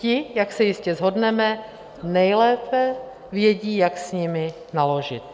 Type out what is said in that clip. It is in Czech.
Ti, jak se jistě shodneme, nejlépe vědí, jak s nimi naložit.